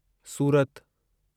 सूरत